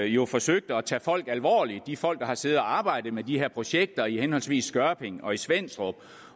jo forsøgte at tage folk alvorligt de folk der har siddet og arbejdet med de her projekter i henholdsvis skørping og svenstrup